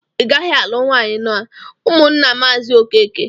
Igaghi alụ nwanyi n'ụmụnna mazi okeke!